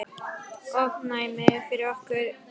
Ofnæmi fyrir okkur og húsinu!